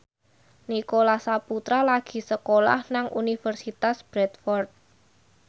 Nicholas Saputra lagi sekolah nang Universitas Bradford